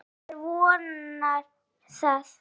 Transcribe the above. Já, maður vonar það.